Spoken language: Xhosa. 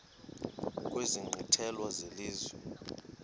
kwezi nkqwithela zelizwe